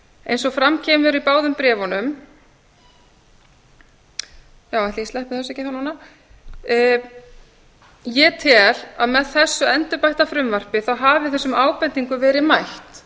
eins og fram kemur í báðum bréfunum já ætli ég sleppi þessu ekki þá núna ég tel að með þessu endurbætta frumvarpi hafi þessum ábendingum verið mætt